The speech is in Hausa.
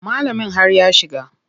Malamin har ya shiga.